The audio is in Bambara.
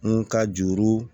Mun ka juru